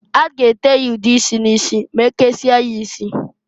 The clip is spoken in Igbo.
A g ete ya ude isi n'isi ma e kesie ya isi.